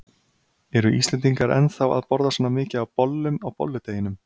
Eru Íslendingar ennþá að borða svona mikið af bollum á bolludeginum?